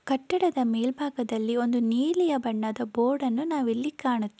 ಕಟ್ಟಡದ ಮೇಲ್ಭಾಗದಲ್ಲಿ ಒಂದು ನೀಲಿಯ ಬಣ್ಣದ ಬೋರ್ಡ ನ್ನು ನಾವಿಲ್ಲಿ ಕಾಣು--